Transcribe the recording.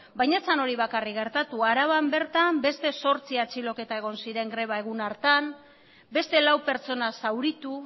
baina ez zen hori bakarrik gertatu araban bertan beste zortzi atxiloketa egon ziren greba egun hartan beste lau pertsona zauritu